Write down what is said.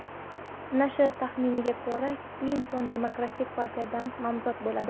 Nashr taxminiga ko‘ra, Klinton Demokratik partiyadan nomzod bo‘ladi.